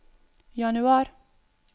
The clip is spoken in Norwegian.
januar